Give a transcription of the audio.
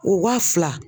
O wa fila